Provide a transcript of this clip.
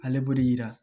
Ale b'o de yira